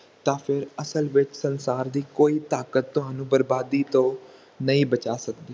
ਤਾ ਫੇਰ ਅਸਲ ਵਿਚ ਸੰਸਾਰ ਦੀ ਕੋਈ ਤਾਕਤ ਤੁਹਾਨੂੰ ਬਰਬਾਦੀ ਤੋਂ ਨਹੀਂ ਬਚਾ ਸਕਦੀ